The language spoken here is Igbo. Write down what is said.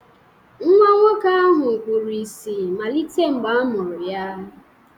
Nwa nwoke ahụ kpuru ìsì malite mgbe a mụrụ ya